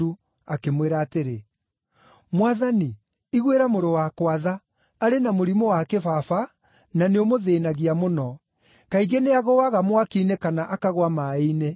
akĩmwĩra atĩrĩ, “Mwathani iguĩra mũrũ wakwa tha, arĩ na mũrimũ wa kĩbaba na nĩũmũthĩĩnagia mũno. Kaingĩ nĩagũũaga mwaki-inĩ kana akagũa maaĩ-inĩ.